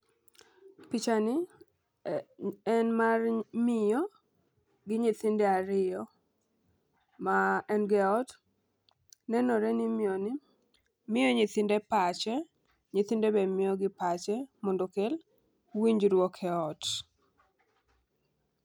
Picha ni en mar miyo gi nyithinde ariyo, ma en go e ot . Nenore ni miyo ni miyo nyithinde pache nyithinde be miyogi pache mondo okel winjruok e ot.